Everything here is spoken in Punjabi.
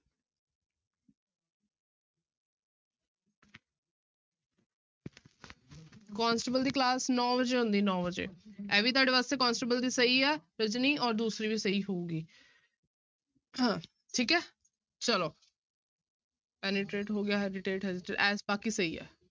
ਕੋਂਸਟੇਬਲ ਦੀ class ਨੋਂ ਵਜੇ ਹੁੰਦੀ ਨੋਂ ਵਜੇ, ਇਹ ਵੀ ਤੁਹਾਡੇੇ ਵਾਸਤੇ ਕੋਂਸਟੇਬਲ ਦੀ ਸਹੀ ਹੈ, ਰਜਨੀ ਔਰ ਦੂਸਰੀ ਵੀ ਸਹੀ ਹੋਊਗੀ ਹਾਂ ਠੀਕ ਹੈ ਚਲੋ penetrate ਹੋ ਗਿਆ hesitate ਬਾਕੀ ਸਹੀ ਹੈ।